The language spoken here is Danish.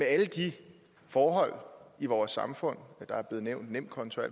alle de forhold i vores samfund der er blevet nævnt nemkonto og